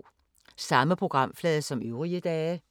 Samme programflade som øvrige dage